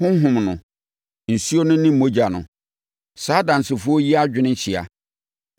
Honhom no, nsuo no ne mogya no. Saa adansefoɔ yi adwene hyia.